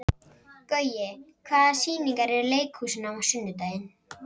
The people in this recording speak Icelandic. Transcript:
Gaui, hvaða sýningar eru í leikhúsinu á sunnudaginn?